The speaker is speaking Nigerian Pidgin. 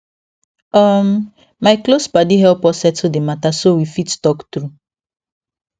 um my close padi help us settle d mata so we fit talk true